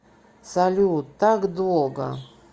салют так долго